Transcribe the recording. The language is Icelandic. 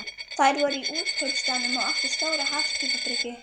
Þær voru í Útkaupstaðnum og áttu stóra hafskipabryggju.